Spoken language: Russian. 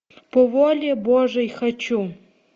по воле божьей хочу